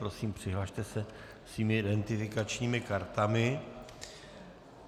Prosím přihlaste se svými identifikačními kartami.